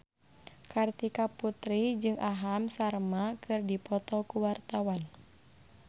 Kartika Putri jeung Aham Sharma keur dipoto ku wartawan